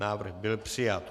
Návrh byl přijat.